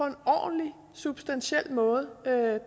en ordentlig substantiel måde